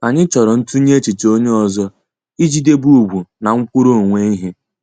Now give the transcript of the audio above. Anyị chọrọ ntunye echiche onye ọzọ ị ji debe ugwu na nkwuru onwe ihe.